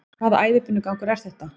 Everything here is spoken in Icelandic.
Hvaða æðibunugangur er þetta?